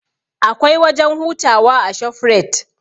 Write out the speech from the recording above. Akwai wajen hutawa a shofrait